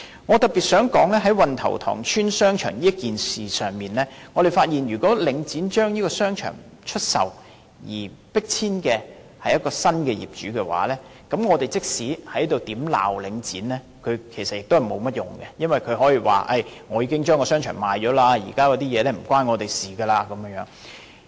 我特別想指出，在運頭塘邨商場這事上，我認為領展既然已將商場出售，而迫遷的是新業主，那麼，即使我們在這裏如何責罵領展也沒有甚麼用，因為它可以說已經將商場出售，現在的事情與它再沒有關係。